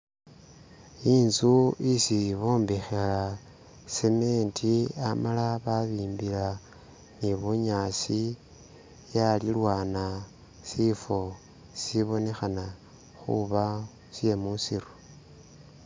Inzu isi bombekha cement amala babimbilila ni bunyaasi yalilwana sifo sibonekhana khuba sie musiru